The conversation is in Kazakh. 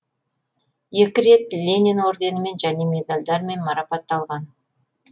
екі рет ленин орденімен және медальдармен марапатталған